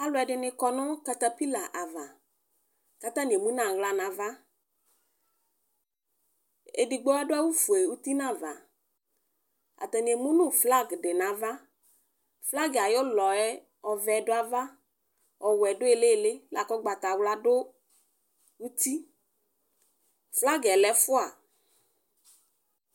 Alʋ ɛdini kɔ nʋ katapila ava kʋ atani emʋ aɣla nʋ ava edigbo adʋ awʋfue uti nʋ ava atani emʋnʋ flag di nʋ ava flag ayʋ ʋlɔ yɛ ɛvɛ du ava ɔwɛ du ilili kʋ ʋgbatawla dʋ uti fagɛ lɛ ɛfʋa